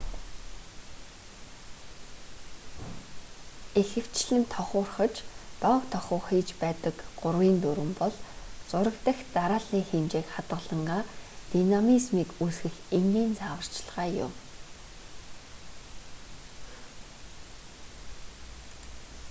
ихэвчлэн тохуурхаж доог тохуу хийж байдаг гурвын дүрэм бол зураг дахь дарааллын хэмжээг хадгалангаа динамизмийг үүсгэх энгийн зааварчилгаа юм